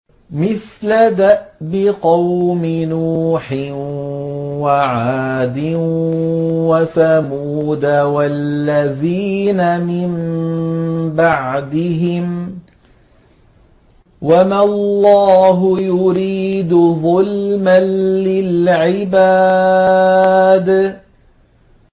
مِثْلَ دَأْبِ قَوْمِ نُوحٍ وَعَادٍ وَثَمُودَ وَالَّذِينَ مِن بَعْدِهِمْ ۚ وَمَا اللَّهُ يُرِيدُ ظُلْمًا لِّلْعِبَادِ